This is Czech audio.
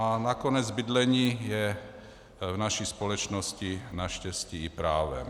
A nakonec bydlení je v naší společnosti naštěstí i právem.